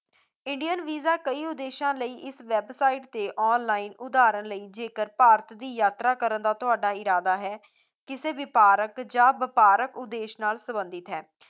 indian visa ਕਈ ਉਦੇਸ਼ਾਂ ਲਈ ਇਸ website ਤੇ online ਉਦਾਹਰਣ ਲਈ ਜੇਕਰ ਭਾਰਤ ਦੀ ਯਾਤਰਾ ਕਰਨ ਦਾ ਜੇਕਰ ਤੁਹਾਡਾ ਇਰਾਦਾ ਹੈ, ਕਿਸੇ ਵੀ ਪਾਰਕ ਜਾਂ ਵਪਾਰਕ ਉਦੇਸ਼ ਨਾਲ ਸੰਬੰਧਿਤ ਹੈ